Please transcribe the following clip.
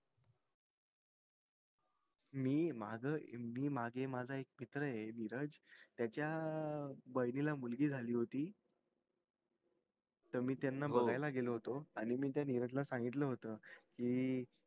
मी माझं माझा एक मित्र ये धीरज त्याचा बहिणी ला मुलगी झाली होती त मी त्याना बगायला गेलो होतो आणि मी त्या धीरज ला सांगितलं होत कि